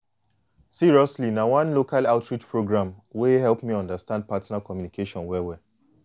seriously na one local outreach program wey help me understand partner communication well well